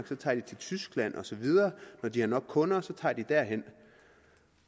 så tager de til tyskland og så videre når de har nok kunder et sted tager de derhen